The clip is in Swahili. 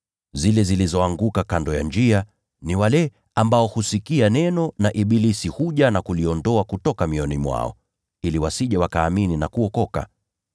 Zile zilizoanguka kando ya njia ni wale ambao husikia neno, naye ibilisi anakuja na kuliondoa neno kutoka mioyoni mwao, ili wasije wakaamini na kuokoka.